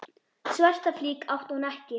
Svarta flík átti hún ekki.